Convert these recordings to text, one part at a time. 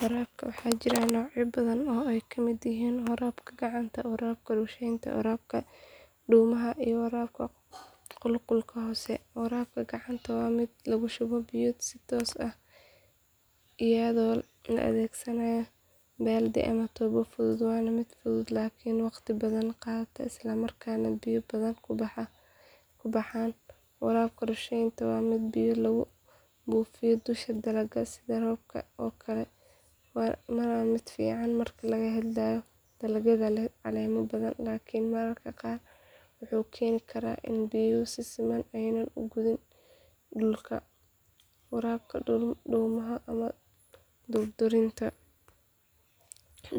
Waraabka waxaa jira noocyo badan oo ay ka mid yihiin waraabka gacanta, waraabka rusheynta, waraabka dhuumaha iyo waraabka qulqulka hoose. Waraabka gacanta waa mid lagu shubo biyo si toos ah iyadoo la adeegsanayo baaldi ama tuubo fudud waana mid fudud laakiin wakhti badan qaata isla markaana biyo badan ku baxaan. Waraabka rusheynta waa mid biyo lagu buufiyo dusha dalagga sida roobka oo kale waana mid fiican marka laga hadlayo dalagyada leh caleemo badan laakiin mararka qaar wuxuu keeni karaa in biyuhu si siman aanay u gaadhin dhulka. Waraabka dhuumaha ama durdurinta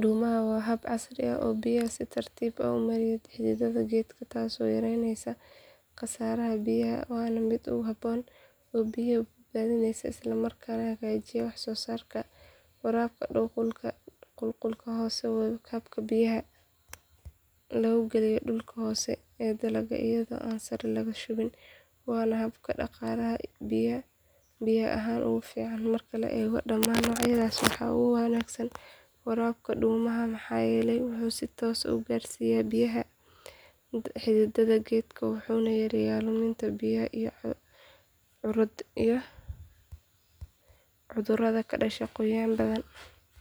dhuumaha waa hab casri ah oo biyaha si tartiib ah u mariya xididka geedka taasoo yareynaysa khasaaraha biyaha waana mid aad u habboon oo biyo badbaadinaya isla markaana hagaajiya wax soo saarka. Waraabka qulqulka hoose waa habka biyaha lagu geliyo dhulka hoose ee dalagga iyadoo aan sare laga shubin waana hab dhaqaalaha biyo ahaan ugu fiican. Marka la eego dhammaan noocyadaas waxaa ugu wanaagsan waraabka dhuumaha maxaa yeelay wuxuu si toos ah u gaarsiiyo biyaha xididka geedka wuxuuna yareeyaa luminta biyaha iyo cudurrada ka dhasha qoyaan badan.